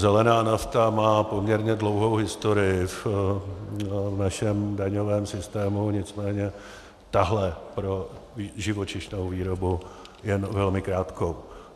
Zelená nafta má poměrně dlouhou historii v našem daňovém systému, nicméně tahle pro živočišnou výrobu jen velmi krátkou.